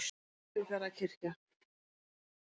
Siglufjarðarkirkju